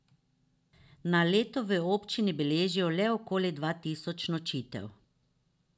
Na leto v občini beležijo le okoli dva tisoč nočitev.